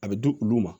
A bɛ di olu ma